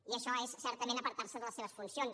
i això és certament apartar se de les seves funcions